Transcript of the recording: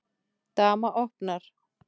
Dama opnar.